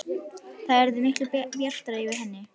Það yrði miklu bjartara yfir henni.